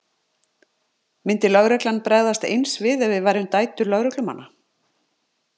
Myndi lögreglan bregðast eins við ef við værum dætur lögreglumanna?